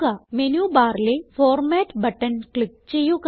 menu ബാറിലെ format button click ചെയ്യുക